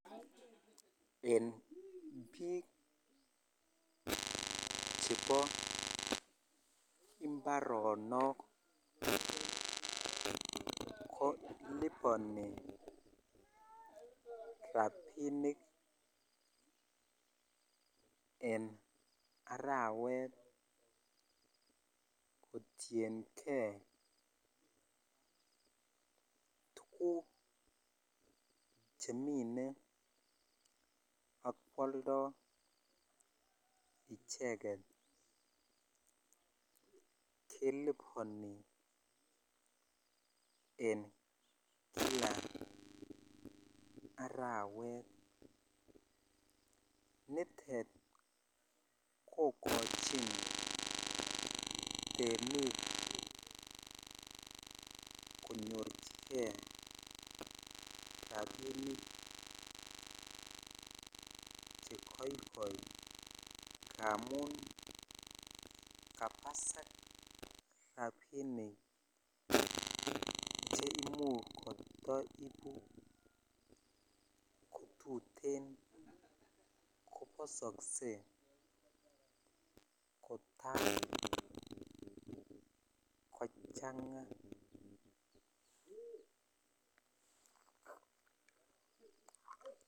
En bik chebo imbaronok ko libani rabinik en arawet kotiyengei tuguk chemine akwaldo icheket kelubani en kila arawet nitet kokachin temik konyorchigei rabinik chegaigai amun kabasak rabinik chimuch kataibu kotuten kobasakse kotai kochanga